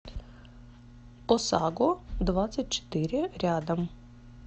осаго двадцать четыре рядом